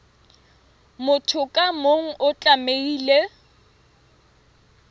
motho ka mong o tlamehile